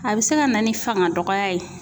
A bɛ se ka na ni fangadɔgɔya ye.